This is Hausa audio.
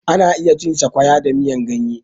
Ana iya cin Sakwaya da miyar ganye.